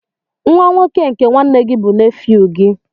Nwa nwoke nke nwanne gị bụ nefew gị.